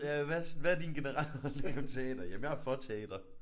Ja hvad hvad er din generelle holdning om teater? Jamen jeg er for teater